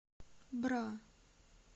бра